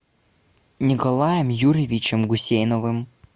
николаем юрьевичем гусейновым